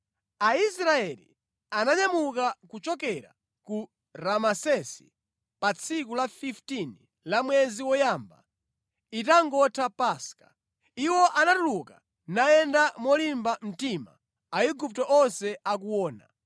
Aisraeli ananyamuka kuchokera ku Ramesesi pa tsiku la 15 la mwezi woyamba, itangotha Paska. Iwo anatuluka nayenda molimba mtima Aigupto onse akuona,